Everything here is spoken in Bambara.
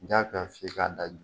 Ja ka f'i ye k'a da dun